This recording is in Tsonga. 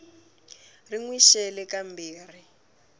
ri n wi xele kambirhi